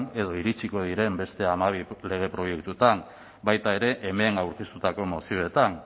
edo iritsiko diren beste hamabi lege proiektuetan baita ere hemen aurkeztutako mozioetan